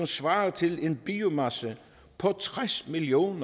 svarer til en biomasse på tres million